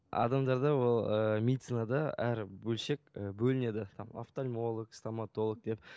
адамдарда ол ыыы медицинада әр бөлшек і бөлінеді там офтальмолог стоматолог деп